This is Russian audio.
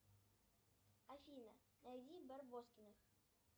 афина найди барбоскиных